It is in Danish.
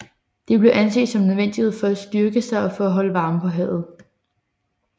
Det blev anset som nødvendigt for at styrke sig og for at holde varmen på havet